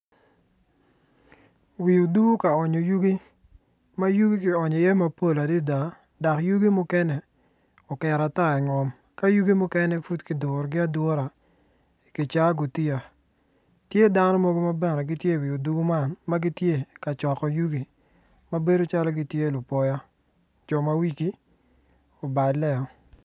Wi odur ka onyo yugi ma yugi kionyo iye mapol adada dok yugi mukene oket ata i ngom ka yugi mukene i kicaa gutiya tye dano mogo ma gitye i wi odur man ka coko yugi ma bedo calo gitye lupoya jo ma wigi oballeo.